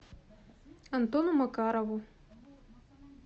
антону макарову